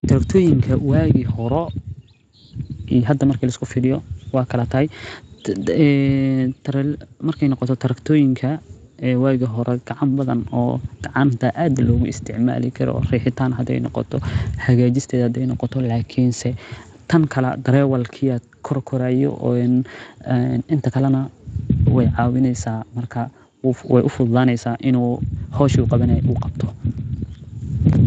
Waagi hore iyo hada marka lafiiriyo waay kala tahay, kuwi hore gacanta ayaa lagu isticmaalaa jire, lakin tan kale darawalka ayaa koraaya oo waay ufudaneysa in howshaa uu qabto.